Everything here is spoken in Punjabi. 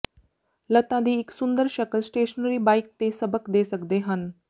ਲੱਤਾਂ ਦੀ ਇਕ ਸੁੰਦਰ ਸ਼ਕਲ ਸਟੇਸ਼ਨਰੀ ਬਾਈਕ ਤੇ ਸਬਕ ਦੇ ਸਕਦੇ ਹਨ